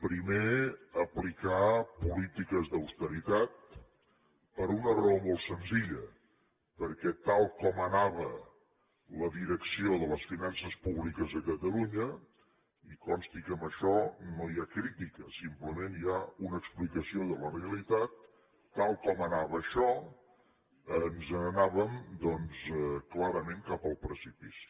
primer aplicar polítiques d’austeritat per una raó molt senzilla perquè tal com anava la direcció de les finances públiques a catalunya i consti que en això ni ha crítica simplement hi ha una explicació de la realitat tal com anava això ens n’anàvem doncs clarament cap al precipici